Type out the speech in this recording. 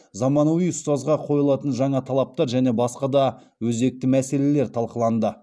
заманауи ұстазға қойылатын жаңа талаптар және басқа да өзекті мәселелер талқыланды